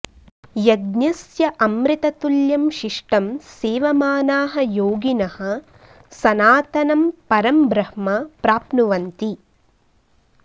यज्ञस्य अमृततुल्यं शिष्टं सेवमानाः योगिनः सनातनं परं ब्रह्म प्राप्नुवन्ति